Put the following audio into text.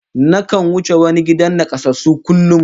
Nakan wuce wani gidan nakasassu kullum